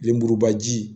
Lemurubaji